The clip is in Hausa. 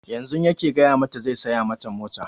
Yanzun yake gaya mata zai saya mata mota